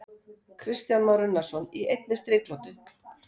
Kristján Már Unnarsson: Í einni striklotu?